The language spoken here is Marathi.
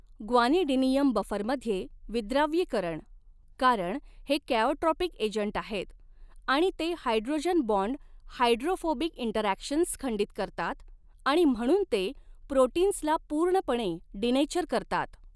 ग्वानिडिनियम बफरमध्ये विद्राव्यीकरण कारण हे कॅओट्रॉपिक एजंट आहेत आणि ते हायड्रोजन बाँड हायड्रोफोबिक इंटरॅक्शन्स खंडित करतात आणि म्हणून ते प्रोटीन्सला पूर्णपणे डीनेचर करतात.